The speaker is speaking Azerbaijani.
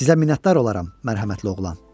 Sizə minnətdar olaram, mərhəmətli oğlan.